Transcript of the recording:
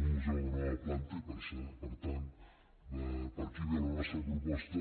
mereix un museu de nova planta i per tant per aquí ve la nostra proposta